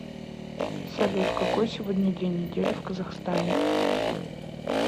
салют какой сегодня день недели в казахстане